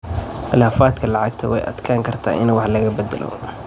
Khilaafaadka lacagta way adkaan kartaa in wax laga beddelo.